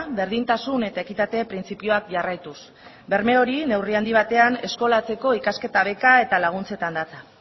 berdintasun eta ekitate printzipioak jarraituz berme hori neurri handi batean eskolatzeko ikasketa beka eta laguntzetan datza